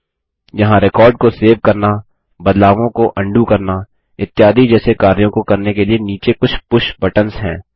यहाँ रिकॉर्ड को सेव करना बदलावों को अन्डू करना इत्यादि जैसे कार्यों को करने के लिए नीचे कुछ पुश बटन्स हैं